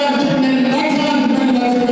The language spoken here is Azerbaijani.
Millətimizdir, möhtəşəm.